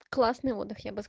классные моды